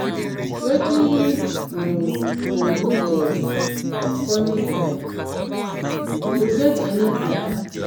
Wetin you go do for di upcoming event, you get any plan?